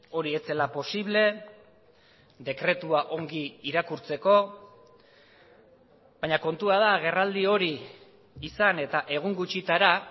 hori ez zela posible dekretua ongi irakurtzeko baina kontua da agerraldi hori izan eta egun gutxitara